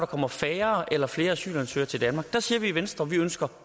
kommer færre eller flere asylansøgere til danmark og der siger vi i venstre at vi ønsker